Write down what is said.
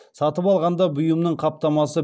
сатып алғанда бұйымның қаптамасы